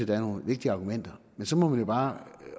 der er nogle vigtige argumenter men så må man jo bare